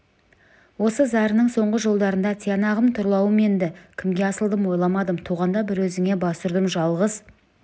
осы зарының соңғы жолдарында тиянағым тұрлауым енді кімге асылдым ойламадым туғанда бір өзіңе бас ұрдым жалғыз